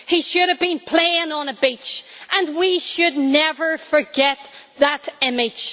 He should have been playing on a beach, and we should never forget that image.